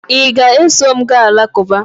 ị ga-eso m gaa alakụba?